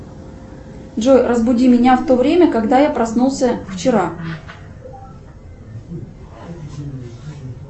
джой разбуди меня в то время когда я проснулся вчера